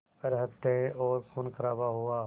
पर हत्याएं और ख़ूनख़राबा हुआ